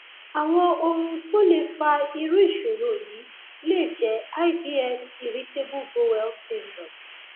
àwọn ohun tó lè fa irú ìṣòro yìí lè jẹ ibs irritable bowel syndrome